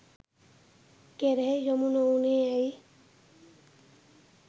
කෙරෙහි යොමු නොවුණේ ඇයි?